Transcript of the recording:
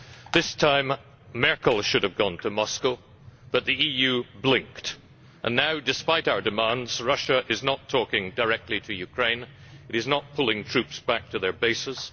This time MrsMerkel should have gone to Moscow, but the EU blinked and now, despite our demands, Russia is not talking directly to Ukraine and it is not pulling troops back to their bases.